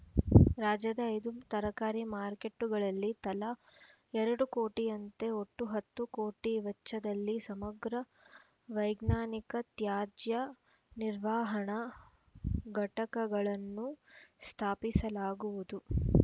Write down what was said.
ರಾಜ್ಯದ ಐದು ತರಕಾರಿ ಮಾರುಕೆಟ್ಟುಗಳಲ್ಲಿ ತಲಾ ಎರಡು ಕೋಟಿಯಂತೆ ಒಟ್ಟು ಹತ್ತು ಕೋಟಿ ವೆಚ್ಚದಲ್ಲಿ ಸಮಗ್ರ ವೈಜ್ಞಾನಿಕ ತ್ಯಾಜ್ಯ ನಿರ್ವಹಣಾ ಘಟಕಗಳನ್ನು ಸ್ಥಾಪಿಸಲಾಗುವುದು